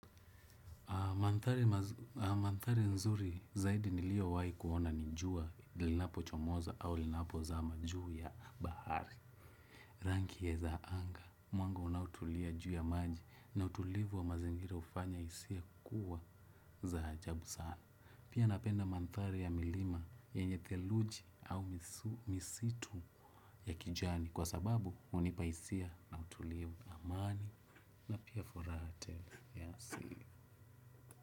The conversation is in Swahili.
Mandhari nzuri zaidi niliyowahi kuona ni jua linapochomoza au linapozama juu ya bahari. Rangi ya za anga, mwanga unaotulia juu ya maji na utulivu wa mazingira hufanya hisia kuwa za ajabu sana. Pia napenda mandhari ya milima yenye theluji au misitu ya kijani kwa sababu hunipa hisia na utulivu amani na pia furaha tele.